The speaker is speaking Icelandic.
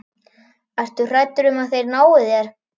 Ertu hræddur um að þeir nái þér?